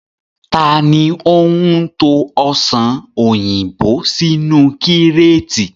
Taàní ó ń to Ọsàn òyìnbó sínú kíreetì?